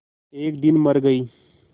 एक दिन मर गई